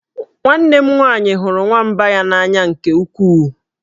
Nwanne m nwaanyị hụrụ nwamba ya n'anya nke ukwuu